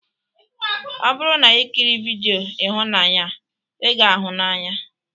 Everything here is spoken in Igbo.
Ọ bụrụ na ikiri vidiyo ihunanya a, ị ga-ahụ n'anya